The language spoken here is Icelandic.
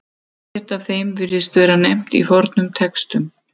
Ekkert af þeim virðist vera nefnt í fornum textum.